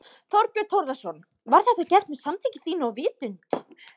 Þorbjörn Þórðarson: Var þetta gert með samþykki þínu og vitund?